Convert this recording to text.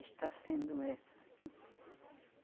Está sendo essa, sim.